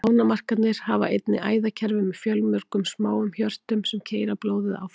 Ánamaðkarnir hafa einnig æðakerfi með fjölmörgum smáum hjörtum, sem keyra blóðið áfram.